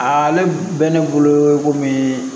A le bɛ ne bolo komi